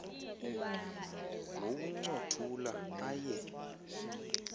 wowunco thula aye